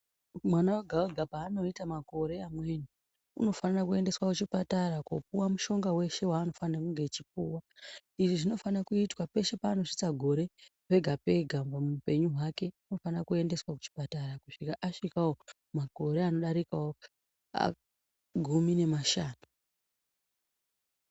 Mwana oga oga paanoita makore mamweni unofanira kuendeswa kuchipatara kopiwa mushonga weshe waanofana kunge achipuwa. lzvi zvinofana kuitwa peshe paanosvitsa gore pega pega muupenyu hwake anofanira kuendeswa kuchipatara kusvika makore anodarikawo gumi nemashanu.